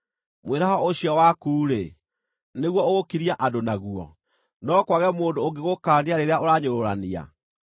Mwĩraho ũcio waku-rĩ, nĩguo ũgũkiria andũ naguo? No kwage mũndũ ũngĩgũkaania rĩrĩa ũranyũrũrania?